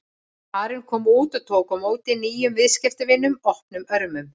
Karen kom út og tók á móti nýjum viðskiptavinum opnum örmum.